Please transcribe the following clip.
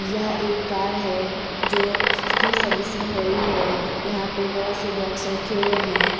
यहाँ एक कार है जो स्की सर्विसिंग हो रही है। यहाँ पे बोहोत से बॉक्स रखे हुए हैं।